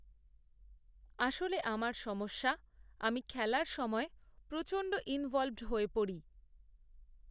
আসলেআমার সমস্যা আমি খেলার সময় প্রচণ্ড ইনভলভড হয়ে পড়ি